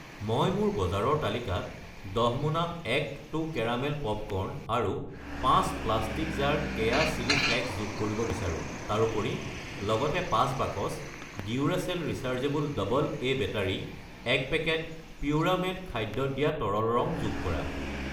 মই মোৰ বজাৰৰ তালিকাত 10 মোনা এক্‌ টু কেৰামেল পপকৰ্ন আৰু 5 প্ৰাষ্টিকৰ জাৰ কেয়া চিলি ফ্লেকছ যোগ কৰিব বিচাৰো। তাৰোপৰি, লগতে 4 বাকচ Duracell rechargeable double A battery , 1 packet পিউৰামেট খাদ্যত দিয়া তৰল ৰং যোগ কৰা।